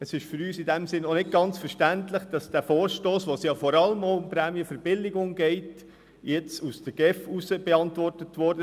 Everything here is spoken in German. Es ist für uns in diesem Sinn auch nicht ganz verständlich, dass dieser Vorstoss, bei dem es ja vor allem auch um Prämienverbilligungen geht, nun vonseiten der GEF beantwortet wurde.